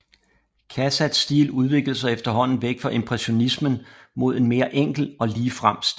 Cassatts stil udviklede sig efterhånden væk fra impressionismen mod en mere enkel og ligefrem stil